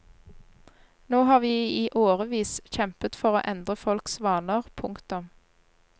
Nå har vi i årevis kjempet for å endre folks vaner. punktum